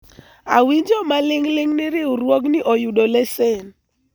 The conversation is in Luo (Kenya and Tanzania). awinjo maling'ling ni riwruogni oyudo lesen